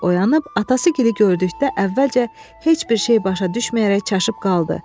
Nadir oyanıb atası Gili gördükdə əvvəlcə heç bir şey başa düşməyərək çaşıb qaldı.